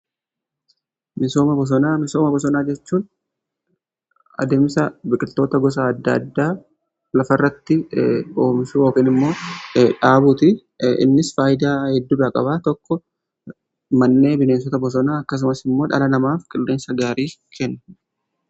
Misooma bosonaa: Misooma bosonaa jechuun adeemsa biqiltoota gosa adda addaa lafa irratti oomishuu yookiin immoo dhaabuuti. Innis faayidaa heddudhaa qabaa tokko mannee bineensota bosonaa akkasumas immoo dhala namaaf qilleensa gaarii kenna.